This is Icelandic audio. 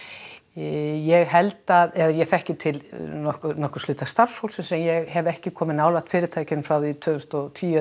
ég held að ég þekki til einhvers hluta starfsfólksins en ég hef ekki komið nálægt fyrirtækjum frá því tvö þúsund og tíu